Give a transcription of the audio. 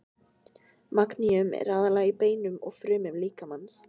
Magníum er aðallega í beinum og frumum líkamans.